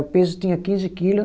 O peso tinha quinze quilo.